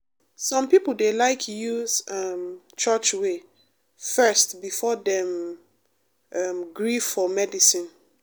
some people dey like use um church way first before dem um gree for medicine.